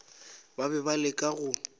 ba be ba leka go